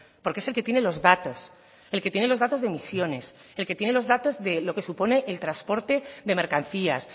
porque es el que tiene los datos el que tiene los datos de emisiones el que tiene los datos de lo que supone el transporte de mercancías